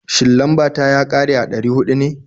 Shin, lambar ta ya ƙare a ɗari huɗu ne?